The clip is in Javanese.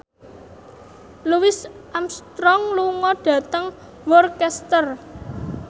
Louis Armstrong lunga dhateng Worcester